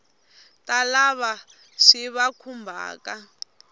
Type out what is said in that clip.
ta lava swi va khumbhaka